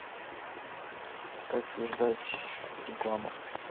как создать рекламу